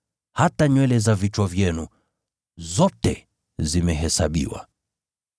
Hata nywele za vichwa vyenu zote zimehesabiwa.